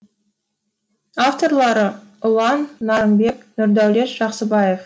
авторлары ұлан нарынбек нұрдәулет жақсыбаев